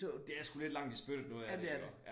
Det er sgu lidt langt i spyttet det noget af det iggå